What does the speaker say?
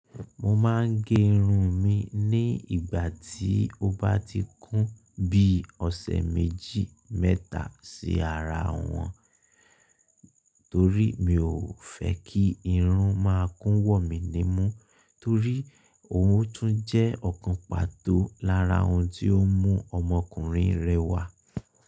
Mo máa ń gé irun mi ní ìgbà tí ó bá ti kún bí ọ̀sẹ̀ méjì mẹ́ta sí ara wọn, torí mi ò fẹ́ kí irun máa kún wọ̀ mí ní mú, torí ohun tún jẹ́ ọ̀kan pàtó lára ohun tí ó mú ọmọkùnrin rẹwà.